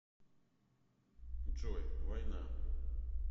джой война